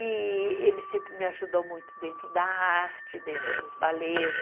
E ele sempre me ajudou muito dentro da arte, dentro dos balês.